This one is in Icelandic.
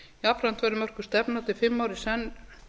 jafnframt verði mörkuð stefna til fimm ára í senn